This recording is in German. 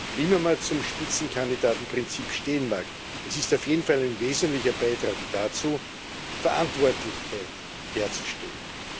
Wie immer man zum Spitzenkandidatenprinzip stehen mag es ist auf jeden Fall ein wesentlicher Beitrag dazu, Verantwortlichkeit herzustellen.